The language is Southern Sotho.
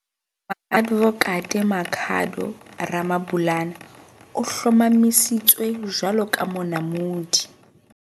Moadvokate Makhado Ramabulana o hlomamisitswe jwalo ka Monamodi.